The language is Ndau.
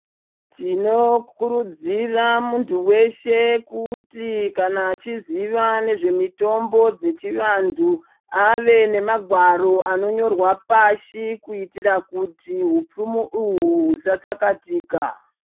Tinokurudzira muntu weshe kuti kana achiziva nezvemitombo dzechivantu ave nemagwaro anonyorwa pashi kuitira kuti hupfumi uhwu husatsakatika.